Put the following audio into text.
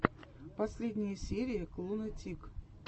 последняя серия клуна тик